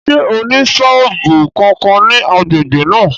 Ṣé ó ní sọ́ọ̀bù kankan ní agbègbè náà?